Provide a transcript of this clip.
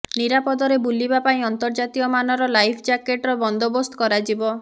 ନିରାପଦରେ ବୁଲିବା ପାଇଁ ଅନ୍ତର୍ଜାତୀୟ ମାନର ଲାଇଫ୍ ଜାକେଟ୍ର ବନ୍ଦୋବସ୍ତ କରାଯିବ